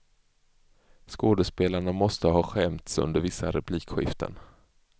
Skådespelarna måste ha skämts under vissa replikskiften.